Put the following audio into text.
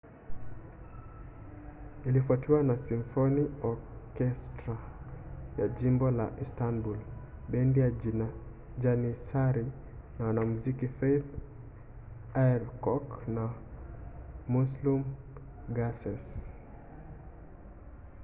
ilifuatiwa na simfoni okestra ya jimbo la istanbul bendi ya janissary na wanamuziki fatih erkoç and müslüm gürses